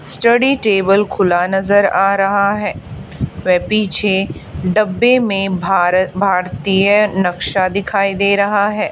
Study table खुला नजर आ रहा है व पीछे डब्बे में भार भारतीय नक्शा दिखाई दे रहा है।